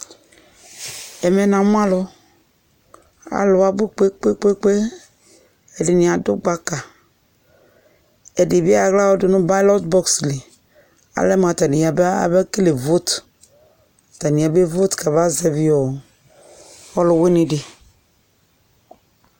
Ɛmɛ na mʋ alʋ Alʋ abʋ kpekpekpe, ɛdɩnɩ adʋ gbaka, ɛdɩ bɩ ayɔ aɣla dʋ nʋ ballot box li Alɛ mʋ atanɩ yaba, yabekele vote, atanɩ yabevote kamazɛvi ɔlʋwɩnɩ dɩ